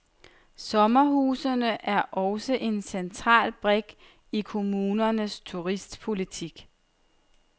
Sommerhusene er også en central brik i kommunernes turistpolitik.